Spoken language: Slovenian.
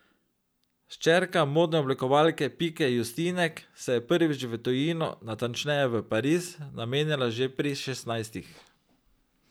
Hčerka modne oblikovalke Pike Justinek se je prvič v tujino, natančneje Pariz, namenila že pri šestnajstih.